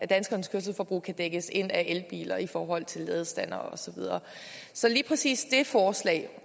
danskernes kørselsforbrug kan dækkes ind af elbiler i forhold til ladestandere og så videre så lige præcis det forslag